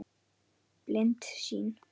Blind sýn.